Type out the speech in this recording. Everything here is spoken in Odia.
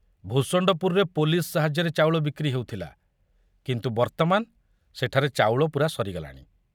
ଭୂଷଣ୍ଡପୁରରେ ପୋଲିସ ସାହାଯ୍ୟରେ ଚାଉଳ ବିକ୍ରି ହେଉଥିଲା, କିନ୍ତୁ ବର୍ତ୍ତମାନ ସେଠାରେ ଚାଉଳ ପୂରା ସରିଗଲାଣି।